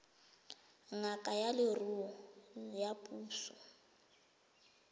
ngaka ya leruo ya puso